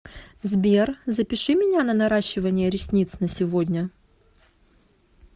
сбер запиши меня на наращивание ресниц на сегодня